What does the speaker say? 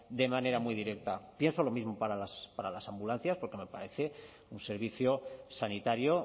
de manera muy directa pienso lo mismo para las ambulancias porque me parece un servicio sanitario